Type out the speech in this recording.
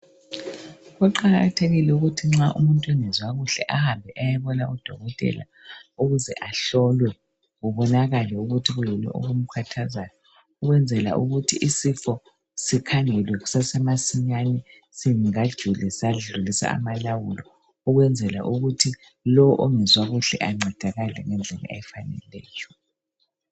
Kuqakathekile ukuthi nxa umuntu engezwa kuhle ahambe ayebona udokotela ukuze ahlolwe kubonakale ukuthi yikuyini okumkhathazayo, ukwenzela ukuthi isifo sikhangelwe kusase masinya singakajuli sadlulisa amalawulo, ukwenzela ukuthi lo ongezwa kuhle ancedakale ngendlela efaneleyo.